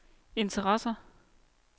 interesser